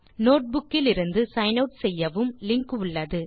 notebook இலிருந்து sign out செய்யவும் link உள்ளது